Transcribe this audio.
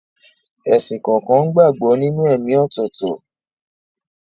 Ẹ̀sìn kọ̀ọ̀kan gbàgbọ́ nínú ẹ̀ẹ̀mí ọ̀tọ̀ọ̀tọ̀.